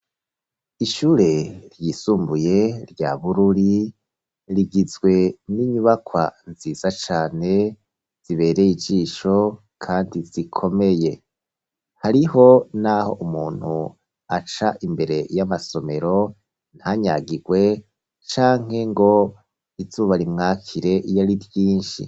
Ishure ryisumbuye rya Bururi rigizwe n'inyubakwa nziza cane zibereye ijisho kandi zikomeye. Hariho n'aho umuntu aca imbere y'amasomero ntanyagirwe canke ngo izuba rimwakire iyo ari ryinshi.